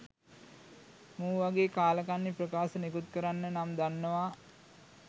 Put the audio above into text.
මු වගේ කාලකන්නි ප්‍රකාශ නිකුත් කරන්න නම් දන්නවා.